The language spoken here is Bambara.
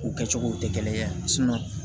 U kɛcogow tɛ kelen ye